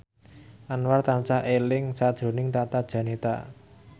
Anwar tansah eling sakjroning Tata Janeta